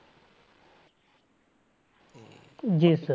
ਜੀ sir